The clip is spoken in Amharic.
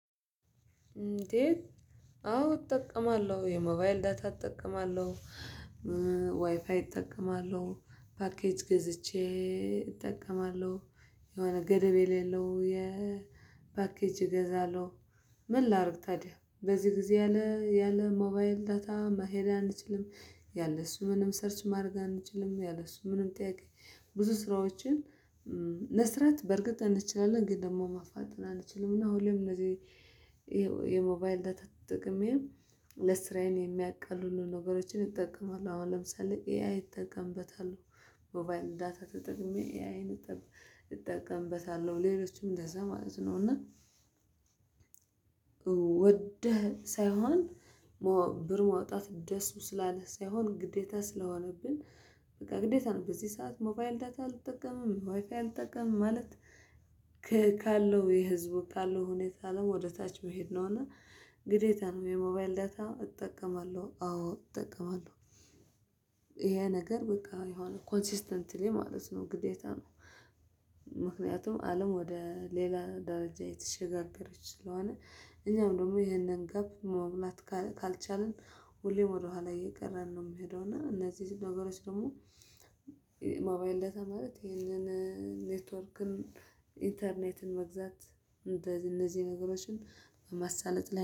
እንዴ? አዎ እጠቀማለሁ የሞባይል ዳታ እጠቀማለሁ ዋይፋይ እጠቀማለሁ ፓኬጅ ገዝቼ እጠቀማለሁ የሆነ ገደብ የሌለው የፓኬጅ እገዛለሁ። ምን ላድርግ ታዲያ በዚህ ጊዜ ያለ ያለ ሞባይል ዳታ መሄድ አንችልም። ያለ እሱ ምንም ሰርች ማድረግ አንችልም ያለ እሱ ምንም ጥያቄ ብዙ ስራዎችን መስራት በእርግጥ እንችላለን ግን ደግሞ ማፋጠን አንችልም እና አሁን ላይም እንደዚህ። የሞባይል ዳታ ተጠቅሜ ለስራዬን የሚያቀልሉ ነገሮችን እጠቀማለሁ አሁን ለምሳሌ ኤአይ እጠቀምበታለሁ። ሞባይል ዳታ ተጠቅሜ ኤአይን እጠቀምበታለሁ ሌሎችም እንደዛ ማለት ነው እና። ወደህ ሳይሆን ብር ማውጣት ደስ ስላለ ሳይሆን ግዴታ ስለሆነብን በቃ ግዴታ ነው። በዚህ ሰዓት ሞባይል ዳታ አልጠቀምም ዋይፋ አልጠቅምም ማለት። ካለው የህዝቡ ካለው ሁኔታ አለም ወደ ታች መሄድ ነው እና ግዴታ ነው። የሞባይል ዳታ እጠቀማለሁ አዎ እጠቀማለሁ። ይሄ ነገር በቃ የሆነ ኮንሲስተንትሊ ማለት ነው ግዴታ ነው። ምክንያቱም አለም ወደ ሌላ ደረጃ እየተሸጋገረች ስለሆነ። እኛም ደግሞ ይሄንን ጋፕ መሙላት ካልቻልን ሁሌም ወደኋላ እየቀረን ነው የምሄደው እና እነዚህ ነገሮች ደግሞ። ሞባይል ዳታ ማለት ይሄንን ኔትወርክን ኢንተርኔትን መግዛት እንደነዚህ ነገሮችን በማሳለጥ